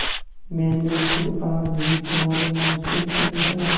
मैंने तो आज ही तुम्हारे मुँह से सुनी है